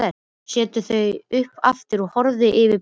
Setur þau upp aftur og horfir yfir bekkinn.